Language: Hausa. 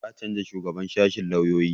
Za a canza shugaban sashen lauyoyi